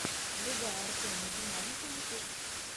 врубай артема динамика ютуб